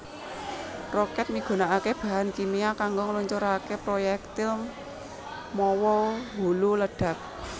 Rokèt migunakaké bahan kimia kanggo ngluncuraké proyektil mawa hulu ledhak